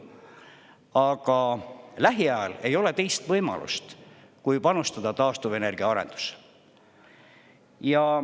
Aga lähiajal ei ole teist võimalust, kui panustada taastuvenergia arendusse.